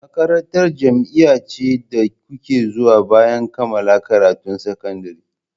Makarantar jami'a ce da kuke zuwa bayan kammala karatun sakandare.